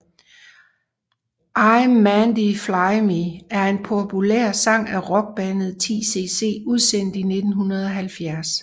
Im Mandy Fly Me er en populær sang af rockbandet 10cc udsendt i 1970